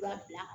Fura bila